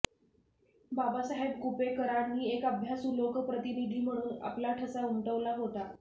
बाबासाहेब कुपेकरांनी एक अभ्यासू लोकप्रतिनिधी म्हणून आपला ठसा उमटवला होता